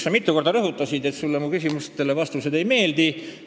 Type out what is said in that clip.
Sa mitu korda rõhutasid, et sulle mu vastused küsimustele ei meeldi.